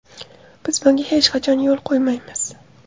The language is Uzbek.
Biz bunga hech qachon yo‘l qo‘ymaymiz.